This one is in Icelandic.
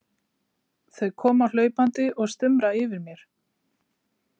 Þau koma hlaupandi og stumra yfir mér.